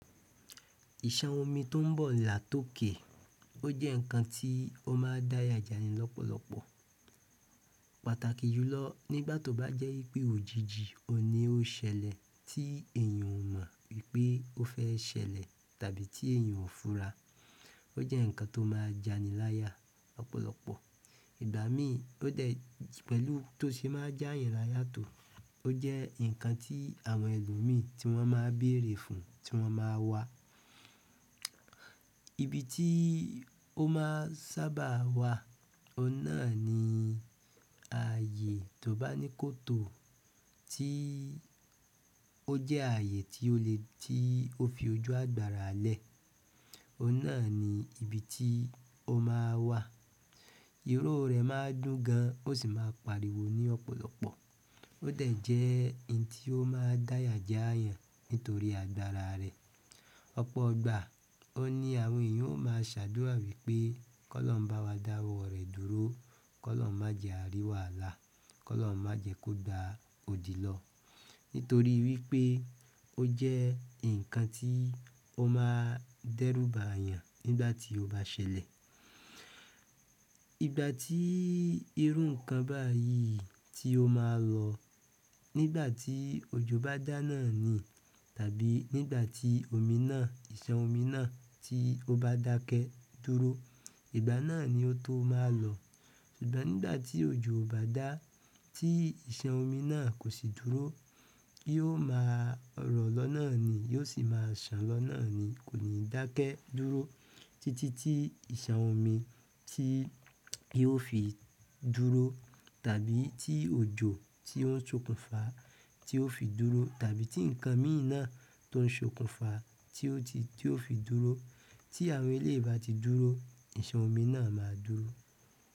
Ìṣan omi tó ń bọ̀ là tó kè. Ó jẹ́ ǹkan tí ó máa ń dáyà jani lọ́pọ̀lọpọ̀. Pàtàkì jùlọ nígbà tó bá jẹ́ wípé òjìji oun nì ó ṣẹlẹ̀ tí èèyàn ò mọ̀ wípé ó fẹ́ ṣẹlẹ̀ tàbí tí èèyàn ò fura. Ó jẹ́ ǹkan tó máa jani láyà lọ́pọ̀lọpọ̀. Ìgbà mí, ó dẹ̀ pẹ̀lú tó ṣe máa jáyàn láyà tó, ó jẹ́ ǹkan tí àwọn ẹlòmíí tí wọ́n máa ń bèrè fún, tí wọ́n máa wà. Ibi ti o maa n sábà wa oun nà ni ààyè to ba ni koto, ti o jẹ ààyè ti o fi ojú agbára lẹ òun náà ibi ti o maa n wa iro rẹ̀ máa dún gan, ó sì máa pariwo ní ọ̀pọ̀lọpọ̀. Ó dẹ̀ jẹ́ ohun tí ó máa n dáyà já yàn nítorí àgbàrá rẹ̀. Ọ̀pọ̀ ìgbà, óun ní àwọn èèyàn ó máa ṣàdúrà wípé, "Kọ́ lọ́ ń bá wa dáwọ́ rẹ̀ dúró. K'ọ́lọ́run má jẹ à rí wàhálà. K'ọlọrun má jẹ kó gba odi lọ." Nítorí wípé ó jẹ́ ǹkan tí ó máa dẹ́rùbà yàn nígbà tí ó bá ṣẹlẹ̀. Ìgbà tí irú ǹkan báyìí tí ó máa lọ, nígbà tí òjò bá dá ná ni tàbí nígbà tí omi náà, ìṣan omi náà tí ó bá dákẹ́ dúró, ìgbà náà ni ó tó máa lọ. Ṣùgbọ́n nígbà tí òjò ò bá dá, tí ìṣan omi náà kò sì dúró, yóò máa rọ̀ lọ́nà ni, yóò sì máa sàn lọ́nà ni. Kò ní dákẹ́ dúró títí tí ìṣan omi tí yóò fi dúró tàbí tí òjò tí ó ń sokùnfà tí ó fi dúró tàbí tí ǹkan míì náà tó ń sokùnfà tí ó ti tí ó fi dúró. Tí àwọn eléyìí bá ti dúró, ìṣan omi náà máa dúró.